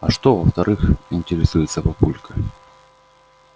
а что во-вторых интересуется папулька